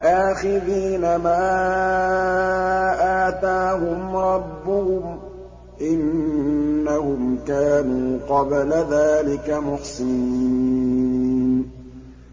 آخِذِينَ مَا آتَاهُمْ رَبُّهُمْ ۚ إِنَّهُمْ كَانُوا قَبْلَ ذَٰلِكَ مُحْسِنِينَ